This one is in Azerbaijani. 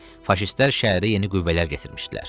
Faşistlər şəhərə yeni qüvvələr gətirmişdilər.